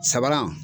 Sabanan